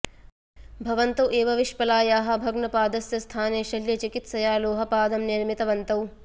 भवन्तौ एव विश्पलायाः भग्नपादस्य स्थाने शल्यचिकित्सया लोहपादं निर्मितवन्तौ